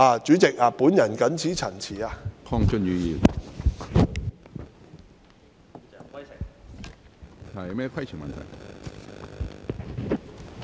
主席，我謹此陳辭。